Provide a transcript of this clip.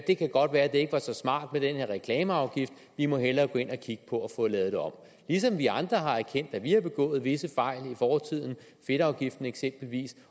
det kan godt være at det ikke var så smart med den her reklameafgift vi må hellere gå ind og kigge på at få det lavet om vi andre har også erkendt at vi har begået visse fejl i fortiden fedtafgiften eksempelvis